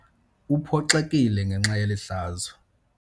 Uphoxekile ngenxa yeli hlazo.